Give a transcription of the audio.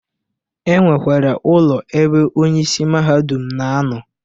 E nwekwere ụlọ ebe onye isi mahadum na-anọ